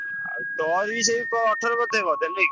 ଆଉ ତୋର ବି ସେ ଅଠର ବୋଧେ ବୋଧେ ନୁହେଁ କି?